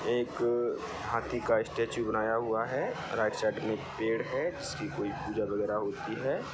एक हाथी का स्टैचू बनाया हुआ है राइट साइड मे एक पेड़ है जिस की कोई पूजा वगैरा होती है।